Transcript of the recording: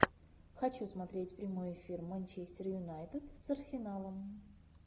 хочу смотреть прямой эфир манчестер юнайтед с арсеналом